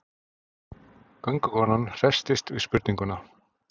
Göngukonan hresstist við spurninguna.